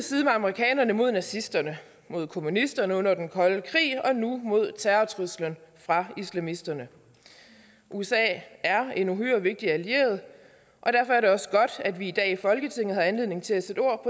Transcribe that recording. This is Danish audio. side med amerikanerne mod nazisterne mod kommunisterne under den kolde krig og nu mod terrortruslen fra islamisterne usa er en uhyre vigtig allieret og derfor er det også godt at vi i dag i folketinget har anledning til at sætte ord